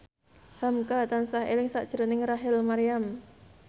hamka tansah eling sakjroning Rachel Maryam